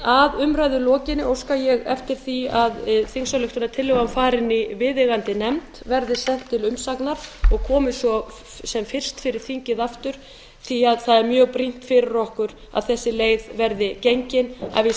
að umræðu lokinni óska ég eftir því að þingsályktunartillagan fari til viðeigandi nefndar verði send til umsagnar og komi svo sem fyrst fyrir þingið aftur því það er mjög brýnt fyrir okkur að þessi leið verði gengin að við